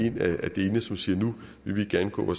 en af delene siger at nu vil de gerne gå